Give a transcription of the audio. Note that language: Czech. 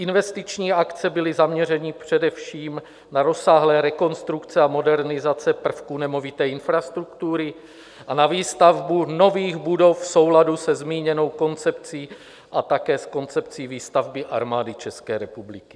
Investiční akce byly zaměřeny především na rozsáhlé rekonstrukce a modernizace prvků nemovité infrastruktury a na výstavbu nových budov v souladu se zmíněnou koncepcí a také s koncepcí výstavby Armády České republiky.